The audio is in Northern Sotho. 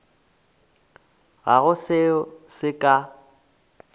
ga go seo se ka